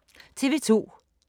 TV 2